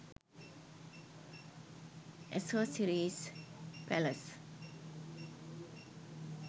accessories palace